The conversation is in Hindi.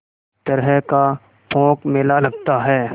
तरह का पोंख मेला लगता है